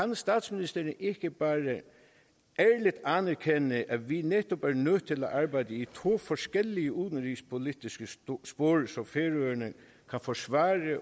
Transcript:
kan statsministeren ikke bare anerkende at vi netop er nødt til at arbejde i to forskellige udenrigspolitiske spor så færøerne kan forsvare